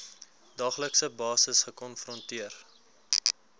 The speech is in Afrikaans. daaglikse basis gekonfronteer